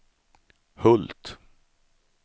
Hult